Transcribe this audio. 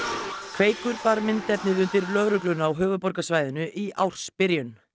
kveikur bar myndefnið undir lögregluna á höfuðborgarsvæðinu í ársbyrjun